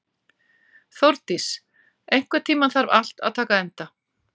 Þórdís, einhvern tímann þarf allt að taka enda.